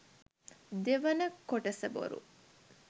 දෙවන කොටස බොරු.